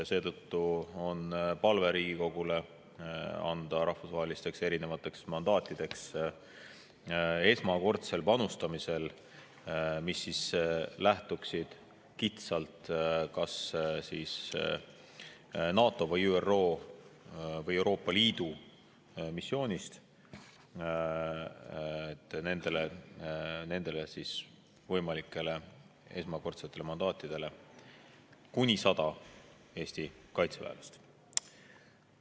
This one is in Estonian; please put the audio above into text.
Seetõttu on palve Riigikogule anda mandaat, et esmakordsel panustamisel erinevatesse rahvusvahelistesse, mis lähtuvad kitsalt kas NATO, ÜRO või Euroopa Liidu missioonist, kuni 100 kaitseväelasega.